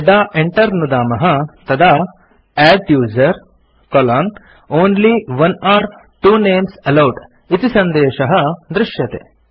यदा enter नुदामः तदा adduser only one or two names allowed इति सन्देशः दृश्यते